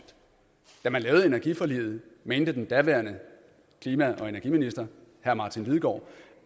da man lavede energiforliget mente den daværende klima og energiminister herre martin lidegaard